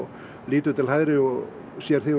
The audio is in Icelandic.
lítur til hægri og sér þig og